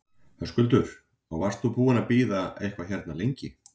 Höskuldur: Og varst þú búinn að bíða eitthvað hérna lengi?